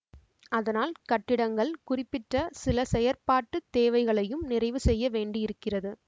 அதனால் கட்டிடங்கள் குறிப்பிட்ட சில செயற்பாட்டு தேவைகளையும் நிறைவு செய்யவேண்டியிருக்கிறது